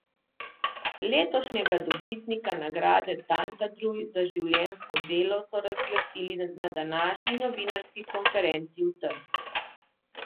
Letošnjega dobitnika nagrade Tantadruj za življenjsko delo so razglasili na današnji novinarski konferenci v Trstu.